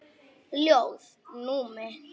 Ljóð: Númi